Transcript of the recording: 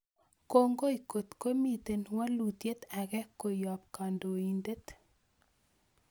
Kongoi kot komiten walutyet age koyob kondoindet